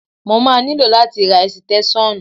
Mo máa nílò láti ra ẹ̀sìtẹ́ṣọ́nù.